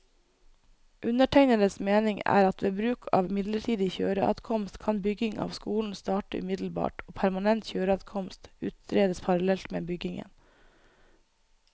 Undertegnedes mening er at ved bruk av midlertidig kjøreadkomst, kan bygging av skolen starte umiddelbart og permanent kjøreadkomst utredes parallelt med byggingen.